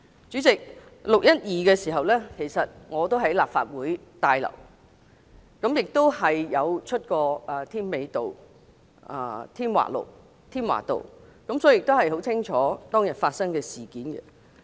主席 ，6 月12日當天我也在立法會大樓，亦有去過添華道，所以很清楚當天發生的事件。